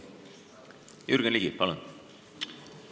Jürgen Ligi, palun!